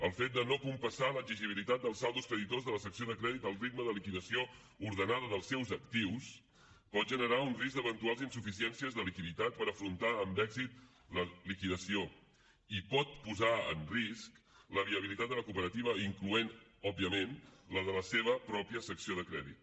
el fet de no compassar l’exigibilitat dels saldos creditors de la secció de crèdit al ritme de liquidació ordenada dels seus actius pot generar un risc d’eventuals insuficiències de liquiditat per afrontar amb èxit la liquidació i pot posar en risc la viabilitat de la cooperativa incloent òbviament la de la seva pròpia secció de crèdit